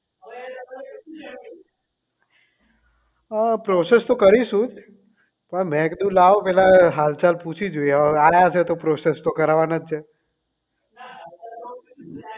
હમ